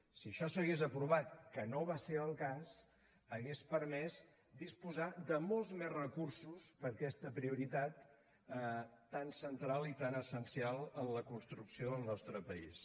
si això s’hagués aprovat que no va ser el cas hauria permès disposar de molts més recursos per a aquesta prioritat tan central i tan essencial en la construcció del nostre país